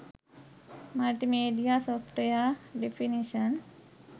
multimedia software definition